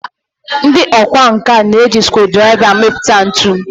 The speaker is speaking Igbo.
ndị ọkwá nkà na-eji scruudraiva amipụta ntu